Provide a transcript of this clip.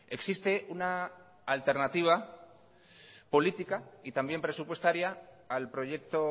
existe una alternativa política y también presupuestaria al proyecto